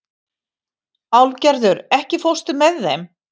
Álfgerður, ekki fórstu með þeim?